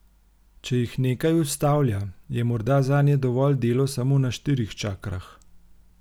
Če jih nekaj ustavlja, je morda zanje dovolj delo samo na štirih čakrah.